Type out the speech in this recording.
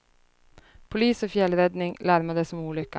Polis och fjällräddning larmades om olyckan.